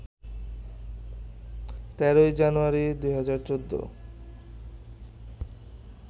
১৩ জানুয়ারি, ২০১৪